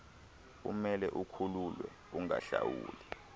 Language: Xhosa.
umele ukhululwe ungahlawuli